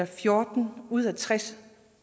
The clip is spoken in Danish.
fjorten ud af tres